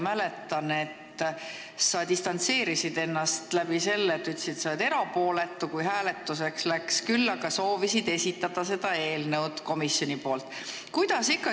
Mäletan, et kui hääletuseks läks, siis sa distantseerisid ennast ja ütlesid, et sa oled erapooletu, küll aga soovisid seda eelnõu komisjoni nimel tutvustada.